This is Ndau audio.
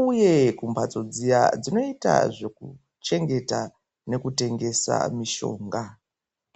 uye kumbhatso dziya dzinoita zvekuchengeta nekutengesa mishonga.